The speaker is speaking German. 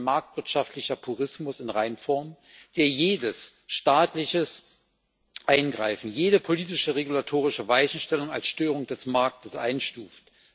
Es ist ein marktwirtschaftlicher Purismus in Reinform, der jedes staatliche Eingreifen, jede politische regulatorische Weichenstellung als Störung des Marktes einstuft.